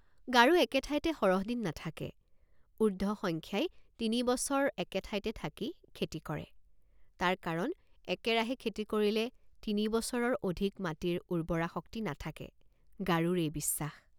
গাৰো একে ঠাইতে সৰহ দিন নাথাকে উৰ্ধ সংখ্যায় তিনি বছৰ একে ঠাইতে থাকি খেতি কৰে তাৰ কাৰণ একেৰাহে খেতি কৰিলে তিনি বছৰৰ অধিক মাটিৰ উৰ্বৰা শক্তি নাথাকে গাৰোৰ এই বিশ্বাস।